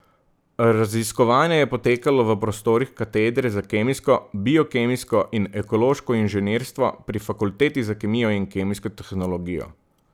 Raziskovanje je potekalo v prostorih katedre za kemijsko, biokemijsko in ekološko inženirstvo pri Fakulteti za kemijo in kemijsko tehnologijo.